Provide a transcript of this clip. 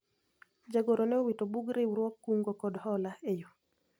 jagoro ne owito bug riwruog kungo kod hola e yoo